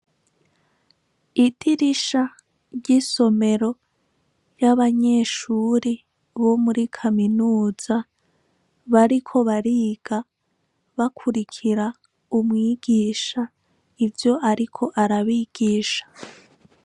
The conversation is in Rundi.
Idirisha ry'isomero ry'abanyeshure bo muri Kaminuza bariko bariga bakurikira umwigisha ivyo ariko arabigisha.